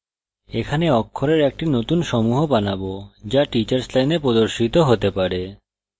এখানে অক্ষরের একটি নতুন সমূহ বানাবো যা teachers line প্রদর্শিত হতে পারে